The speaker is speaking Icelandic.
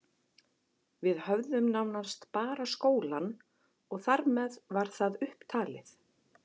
Við höfðum nánast bara skólann og þar með var það upp talið.